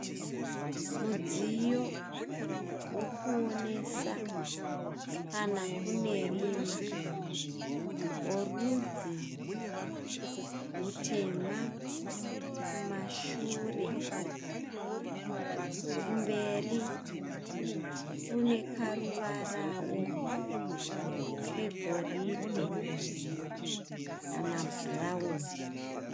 Mudziyo wokuonesa kana kune rima, worudzi rutema kumashure. Kumberi kune karuvarawo kegoridhe kana bhurawuni.